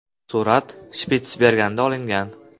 Surat Shpitsbergenda olingan.